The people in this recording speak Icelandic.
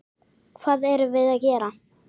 Hvað erum við gera?